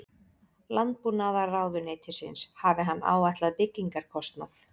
Landbúnaðarráðuneytisins hafi hann áætlað byggingarkostnað